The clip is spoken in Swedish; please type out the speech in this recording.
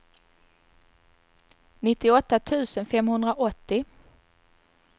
nittioåtta tusen femhundraåttio